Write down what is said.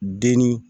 Denni